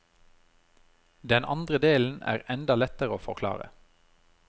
Den andre delen er enda lettere å forklare.